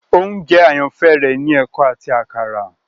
oúnjẹ àyànfẹ rẹ ni eko áti àkàrà.